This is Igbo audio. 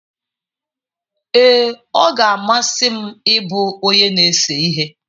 Ee, ọ ga-amasị m ịbụ onye na-ese ihe.